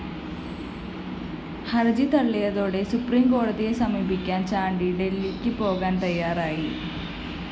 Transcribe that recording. ഹര്‍ജി തള്ളിയതോടെ സുപ്രീംകോടതിയെ സമീപിക്കാന്‍ ചാണ്ടി ഡല്‍ഹിക്ക് പോകാന്‍ തയ്യാറായി